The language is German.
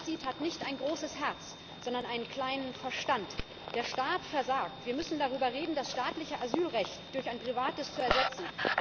Wer das anders sieht, hat nicht ein großes Herz, sondern einen kleinen Verstand. Der Staat versagt! Wir müssen darüber reden, das staatliche Asylrecht durch ein privates zu